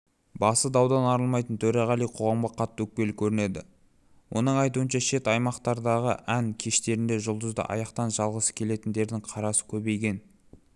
басы даудан арылмайтын төреғали қоғамға қатты өкпелі көрінеді оның айтуынша шет аймақтардағы ән кештерінде жұлдызды аяқтан шалғысы келетіндердің қарасы көбейген